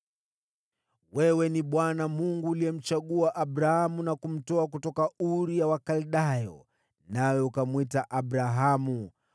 “Wewe ni Bwana Mungu uliyemchagua Abramu na kumtoa kutoka Uru ya Wakaldayo, nawe ukamwita Abrahamu.